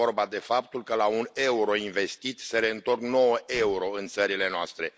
Este vorba de faptul că la un euro investit se reîntorc nouă euro în țările noastre.